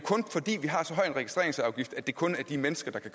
registreringsafgift at det kun er de mennesker der kan